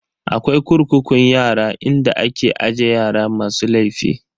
Akwai kurkukun yara inda ake aje yara masu laifi.